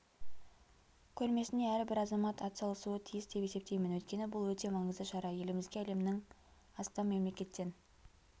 көрмесіне әрбір азамат атсалысуы тиіс деп есептеймін өйткені бұл өте маңызды шара елімізге әлемнің астам мемлекеттен